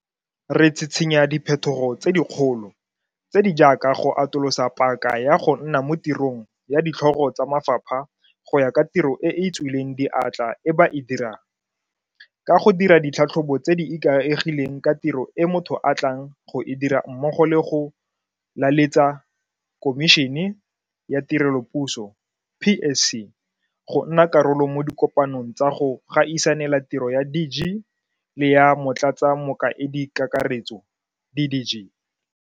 Re tshitshinya diphetogo tse dikgolo, tse di jaaka go atolosa paka ya go nna mo tirong ya ditlhogo tsa mafapha go ya ka tiro e e tswileng diatla e ba e dirang, ka go dira ditlhatlhobo tse di ikaegileng ka tiro e motho a tlang go e dira mmogo le go laletsa Khomišene ya Tirelopuso PSC go nna karolo mo dikopanong tsa go gaisanela tiro ya DG le ya Motlatsamokaedikakaretso DDG.